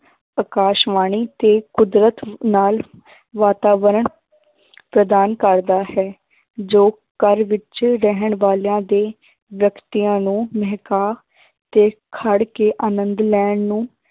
ਆਕਾਸ਼ਵਾਣੀ ਤੇ ਕੁਦਰਤ ਨਾਲ ਵਾਤਾਵਰਨ ਪ੍ਰਦਾਨ ਕਰਦਾ ਹੈ ਜੋ ਘਰ ਵਿੱਚ ਰਹਿਣ ਵਾਲਿਆਂ ਦੇ ਵਿਅਕਤੀਆਂ ਨੂੰ ਮਹਿਕਾ ਤੇ ਖੜ ਕੇ ਆਨੰਦ ਲੈਣ ਨੂੰ